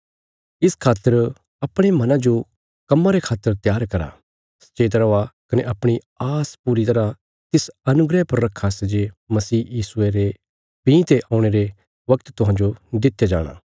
इस खातर अपणे मना जो काम्म रे खातर त्यार करा सचेत रौआ कने अपणी आस पूरी तरह तिस अनुग्रह पर रखा सै जे मसीह यीशुये रे भीं ते औणे रे बगत तुहांजो दित्या जाणा